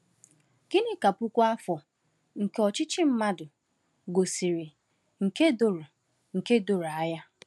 Gịnị ka puku afọ nke ọchịchị mmadụ gosiri nke doro nke doro anya?